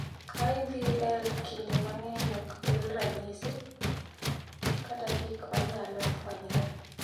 IVL kinde mang’eny ok kel ranyisi kata gik ma nyalo fwenyre.